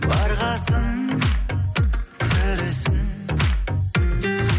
барғасын көресің